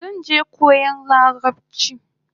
Zanje koyan larabchi gobe